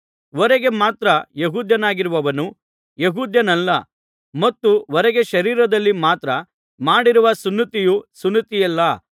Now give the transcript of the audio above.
ಹೊರಗೆ ಮಾತ್ರ ಯೆಹೂದ್ಯನಾಗಿರುವವನು ಯೆಹೂದ್ಯನಲ್ಲ ಮತ್ತು ಹೊರಗೆ ಶರೀರದಲ್ಲಿ ಮಾತ್ರ ಮಾಡಿರುವ ಸುನ್ನತಿಯು ಸುನ್ನತಿಯಲ್ಲ